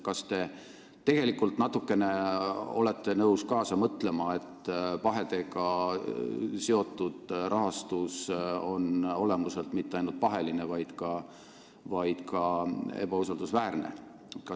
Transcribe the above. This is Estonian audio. Kas te olete nõus natukene kaasa mõtlema, et pahedega seotud rahastus on olemuselt mitte ainult paheline, vaid ka ebausaldusväärne?